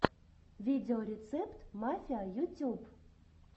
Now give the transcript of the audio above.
видеорецепт мафиа ютюб